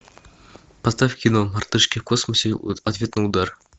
поставь кино мартышки в космосе ответный удар